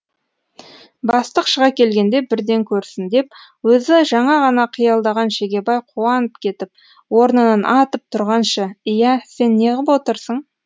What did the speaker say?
бастық шыға келгенде бірден көрсін деп өзі жаңа ғана қиялдаған шегебай қуанып кетіп орнынан атып тұрғанша иә сен неғып отырсың